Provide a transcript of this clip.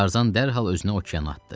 Tarzan dərhal özünü okeana atdı.